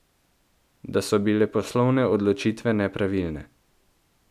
Da so bile poslovne odločitve nepravilne.